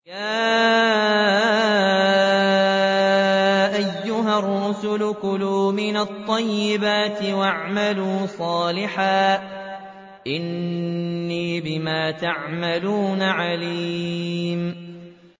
يَا أَيُّهَا الرُّسُلُ كُلُوا مِنَ الطَّيِّبَاتِ وَاعْمَلُوا صَالِحًا ۖ إِنِّي بِمَا تَعْمَلُونَ عَلِيمٌ